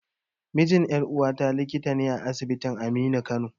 Mijin ƴar'uwata likita ne a asibitin Aminu Kano.